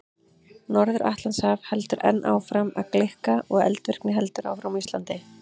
Norður-Atlantshaf heldur enn áfram að gleikka og eldvirkni heldur áfram á Íslandi.